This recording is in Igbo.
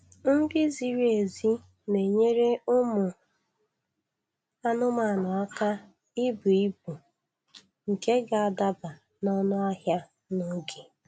Nri ziri ezi na-enyere ụmụ anụmanụ aka ibu ibu nke ga-adaba n' ọnụ ahịa n' oge